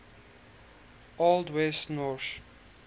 old west norse